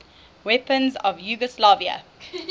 weapons of yugoslavia